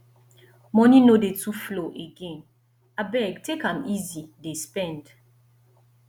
moni no dey too flow again abeg take am easy dey spend